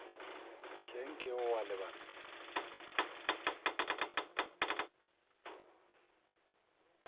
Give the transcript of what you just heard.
hleng nke o a lebala